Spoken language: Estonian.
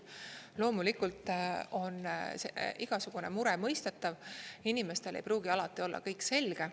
Loomulikult on igasugune mure mõistetav, inimestele ei pruugi alati olla kõik selge.